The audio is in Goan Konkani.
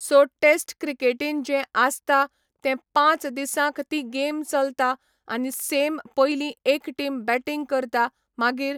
सो टेस्ट क्रिकेटीन जे आसता तें पांच दिसांक ती गेम चलतां आनी सेम पयली एक टिम बेटींग करतां मागीर